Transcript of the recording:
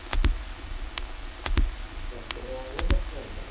Referee മാര് പ്രശ്നമില്ല.